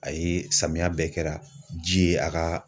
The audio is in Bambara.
A ye samiya bɛɛ kɛra ji ye a ka.